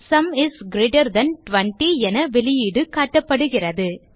sum is greater than 20 என வெளியீடு காட்டப்படுகிறது